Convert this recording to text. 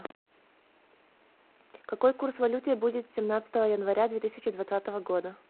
какой курс валюты будет семнадцатого января две тысячи двадцатого года